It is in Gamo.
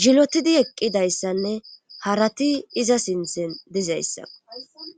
zilotidi eqqidayssanne harati iza sinthen dizayssa,